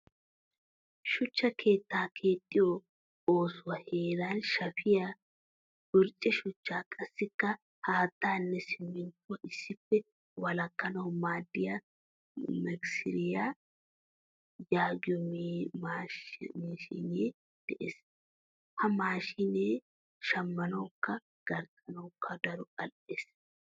Shuchchaa keettaa keexiyo oosuwaa heeran shafiyaa, burcce shuchcha qassi haattanne siminttuwaa issippe walakanawu maadiyaa mikiseriyaa yaagiyo mashshine de'ees. Ha mashshine shamanawukka garxxanawukka daro al'ees.